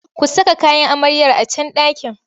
Ku saka kayan amaryar a can ɗakin!